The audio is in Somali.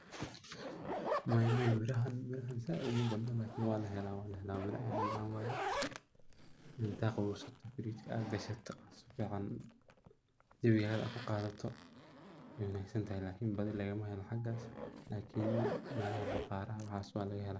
Maya, maya. Mirihan mirahan saaid umabadna lakini waa la helaa, waana la helaa miro aad u macaan waay. inta aad qabobsata firijka aad gashata si fiican jawigaada ku qaadato waa wanagsantahay, lakini badi laga mahelo hagaas lakini meelaha bakhaaraha, waxaas waa laga helaa..